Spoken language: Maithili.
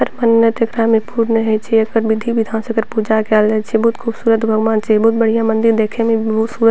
हर मन्नत एकरा में पूर्ण होय छै एकर विधि-विधान से एकर पूजा कायल जाय छै बहुत खूबसूरत भगवान छै बहुत बढ़िया मंदिर देखे में बहुत सु --